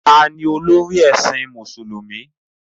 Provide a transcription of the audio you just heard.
Taa ni olórí ẹ̀sìn Mùsùlùmí?